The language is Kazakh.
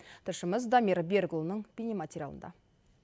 тілшіміз дамир берікұлының бейнематериалында